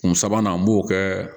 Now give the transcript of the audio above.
Kun sabanan an b'o kɛ